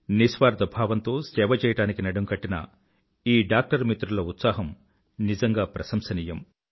నిస్వార్థ భావంతో సేవ చేయడానికి నడుంకట్టిన ఈ డాక్టర్ మిత్రుల ఉత్సాహం నిజంగా ప్రసంశనీయం